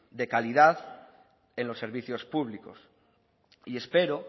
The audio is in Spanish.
de calidad en los servicios públicos y espero